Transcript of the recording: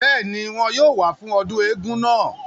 bẹ́ẹ̀ni, wọn yóò wá fún ọdún eégún náà